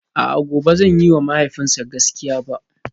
A'a gobe ba zan yiwa mahaifina gaskiya ba?